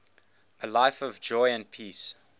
a life of joy and peace